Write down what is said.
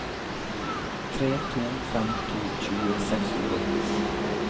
tre to fem to tjue seks hundre og åtti